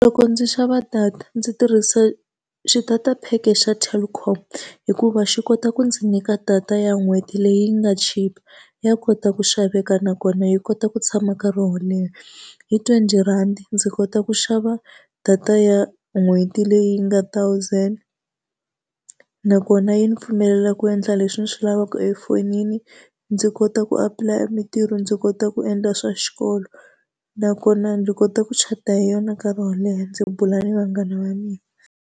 Loko ndzi xava data ndzi tirhisa xitata pack-e xa Telkom, hikuva xi kota ku ndzi nyika data ya n'hweti leyi nga chipa ya kota ku xaveka nakona yi kota ku tshama nkarhi wo leha. Hi twenty rhandi ndzi kota ku xava data ya n'hweti leyi nga thousand, nakona yi ndzi pfumelela ku endla leswi ndzi swi lavaka efonini. Ndzi kota ku apulaya mintirho, ndzi kota ku endla swa xikolo, nakona ndzi kota ku chata hi yona nkarhi wo leha ndzi bula ni vanghana va mina.